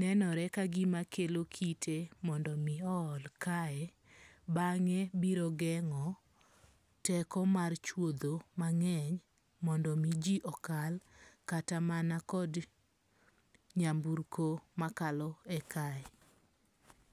nenore kagima kelo kite mondo mi o ol kae. Beng'e biro geng'o teko mar chuodho mang'eny mondo mi ji okal kata manakod nyamburko makalo e kae.